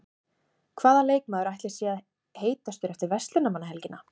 Hvaða leikmaður ætli sé heitastur eftir Verslunarmannahelgina?